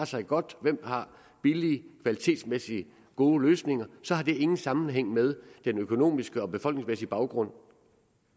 sig godt hvem der har billige kvalitetsmæssigt gode løsninger så har det ingen sammenhæng med den økonomiske og befolkningsmæssige baggrund